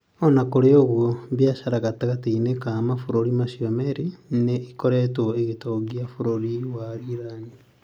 O na kũrĩ ũguo, biacara gatagatĩ-inĩ ka mabũrũri macio merĩ nĩ ĩkoretwo ĩgĩtongia bũrũri wa Iran.